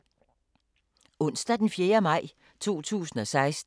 Onsdag d. 4. maj 2016